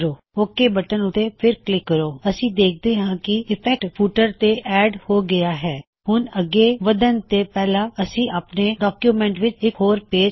okay button ਉੱਤੇ ਫਿਰ click ਕਰੋ ਅਸੀ ਦੇਖਦੇ ਹਾਂ ਕੀ ਇਫੈਕਟ ਫੁਟਰ ਤੇ ਐੱਡ ਹੋ ਗਇਆ ਹੈ